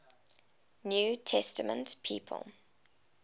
new testament people